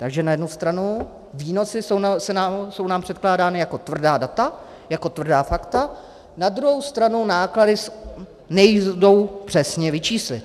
Takže na jednu stranu výnosy jsou nám předkládány jako tvrdá data, jako tvrdá fakta, na druhou stranu náklady nejdou přesně vyčíslit.